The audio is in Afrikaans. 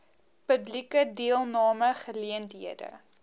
publieke deelname geleenthede